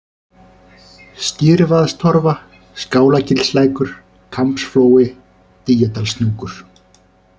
Skyrvaðstorfa, Skálagilslækur, Kambsflói, Dýjadalshnúkur